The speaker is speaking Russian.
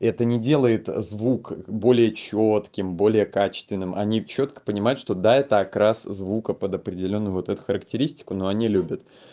это не делает звук более чётким более качественным они чётко понимают что да это окрас звука под определённый вот эту характеристику но они любят